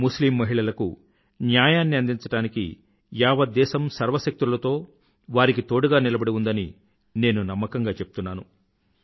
ముస్లిం మహిళలకు న్యాయాన్ని అందించడానికి యావత్ దేశం సర్వశక్తులతో వారికి తోడుగా నిలబడి ఉందని నేను నమ్మకంగా చెప్తున్నాను